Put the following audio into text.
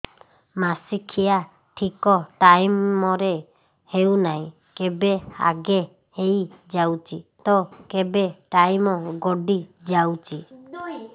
ମାସିକିଆ ଠିକ ଟାଇମ ରେ ହେଉନାହଁ କେବେ ଆଗେ ହେଇଯାଉଛି ତ କେବେ ଟାଇମ ଗଡି ଯାଉଛି